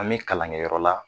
An bɛ kalankɛyɔrɔ la